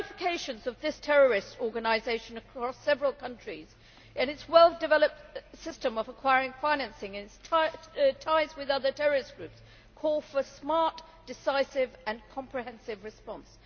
The ramifications of this terrorist organisation across several countries and its well developed system of acquiring financing ties with other terrorist groups call for a smart, decisive and comprehensive response.